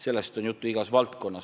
Sellest on juttu igas valdkonnas.